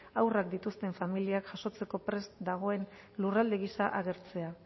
haurrak dituzten familiak jasotzeko prest dagoen lurralde gisa agertzea